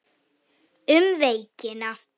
Um veikina